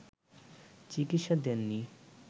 চিকিৎসা দেননি